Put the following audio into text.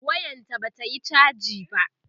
wayan ta Bata Yi chaji ba